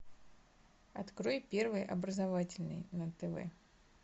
открой первый образовательный на тв